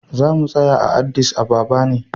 Za mu tsaya a Addis Ababa ne.